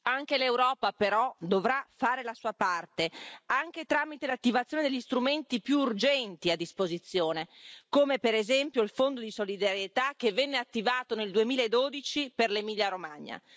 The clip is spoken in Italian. Anche l'Europa, però, dovrà fare la sua parte, anche tramite l'attivazione degli strumenti più urgenti a disposizione, come per esempio il Fondo di solidarietà che venne attivato nel 2012 per l'Emilia Romagna.